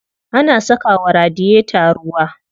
Ana saka wa radiyeta ruwa.